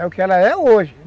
É o que ela é hoje.